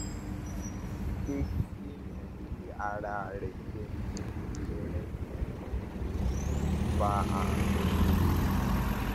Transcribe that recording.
kì í ṣe pé kéèyàn gé ara rẹ jẹ ní ẹrẹkẹ ló um ń fa àrùn jẹjẹrẹ